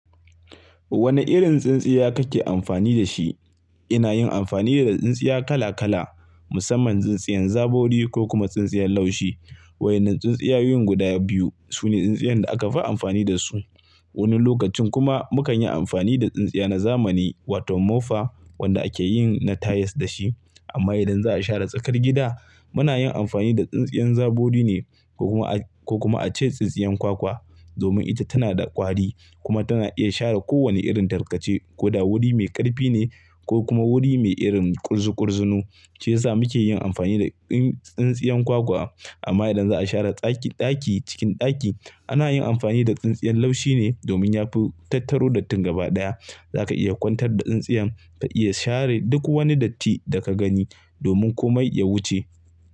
Wane irin tsintsiya kake amfani da shi? Ina yin amfani da tsintsiya kala kala musamman tsintsiyan zabori ko kuma tsintsiyan laushi. Waɗannan tsintsiyayyu guda biyu su ne tsintsiyan da aka fi amfani da su. Wani lokacin kuma mukan yi amfani da tsintsiya na zamani wato mofa wanda ake yin na tayas da shi. Amma idan za a share tsakar gida muna yin amfani da tsintsiyan zabori ne ko kuma a ce tsintsiyan kwakwa domin ita tana da ƙwari kuma tana iya share kowane irin tarkace. Ko da wuri mai ƙarfi ne ko kuma wuri mai irin ƙurzu ƙurzunu, shi ya sa muke yin amfani da tsintsiyan kwakwa. Amma idan za a share ɗaki cikin ɗaki ana yin amfani da tsintsiyan laushi ne domin yafi tattaro dattin gabaɗaya. Zaka iya ƙwantar da tsintsiyan ka iya share duk wani datti da ka gani domin komai ya wuce.